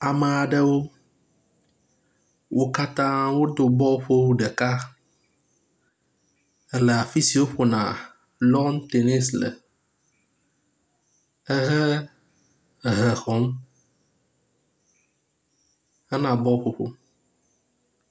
Ame aɖewo. Wo katã wodo bɔluƒowu ɖeka le afi si woƒona long tenisi le ehe hehe xɔm hena bɔlu ƒoƒo